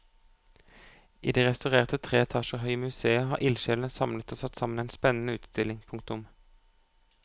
I det restaurerte tre etasjer høye museet har ildsjelene samlet og satt sammen en spennende utstilling. punktum